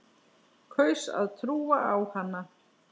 Kaus að trúa á hana.